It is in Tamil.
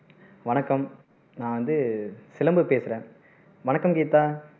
வணக்கம் நான் வந்து சிலம்பு பேசுறேன் வணக்கம் கீதா